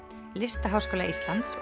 Listaháskóla Íslands